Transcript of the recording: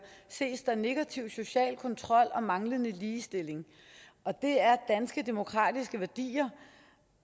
ses der negativ social kontrol og manglende ligestilling det er danske demokratiske værdier